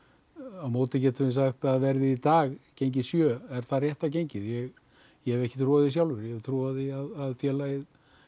á móti getum við sagt að verðið í dag gengi sjö er það rétta gengið ég hef ekki trú á því sjálfur ég hef trú á því að félagið